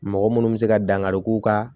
Mɔgɔ munnu bɛ se ka dankari k'u ka